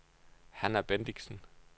Hanna Bendixen